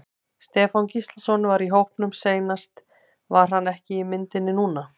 Stefán Gíslason var í hópnum seinast var hann ekki í myndinni núna?